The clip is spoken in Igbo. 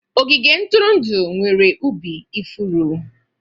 Ogige ntụrụndụ nwere ubi ifuru.